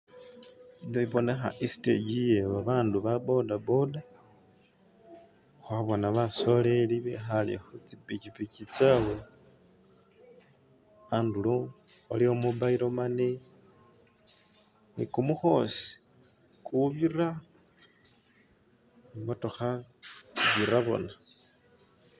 Ino ibonekha istage ye babandu ba boda-boda khwabona basoleli bikhale khutsi pichipichi tsawe handulo waliwo mobile money ni khumukdosi kubira imotokha